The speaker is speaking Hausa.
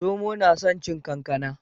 Zomo na son cin kankana